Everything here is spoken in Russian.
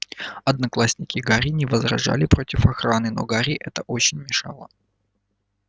одноклассники гарри не возражали против охраны но гарри это очень мешало